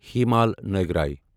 ہی مال ناےگراے